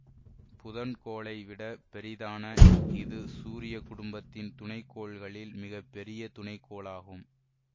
புதன் கோளை விட பெரிதான இது சூரிய குடும்பத்தின் துணைக்கோள்களில் மிக பெரிய துணைக்கோளாகும்